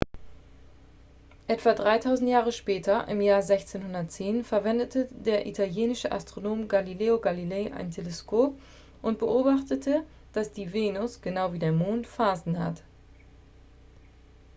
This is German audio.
etwa dreitausend jahre später im jahr 1610 verwendete der italienische astronom galileo galilei ein teleskop und beobachtete dass die venus genau wie der mond phasen hat